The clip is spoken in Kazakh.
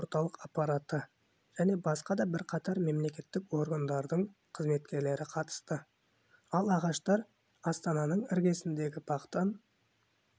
орталық аппараты және басқа да бірқатар мемлекеттік органдардың қызметкерлері қатысты ал ағаштар астананың іргесіндегі бақтан